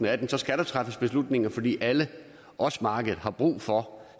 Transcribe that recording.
atten skal der træffes beslutninger fordi alle også markedet har brug for